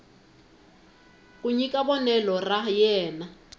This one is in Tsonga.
ku nyika vonelo ra yena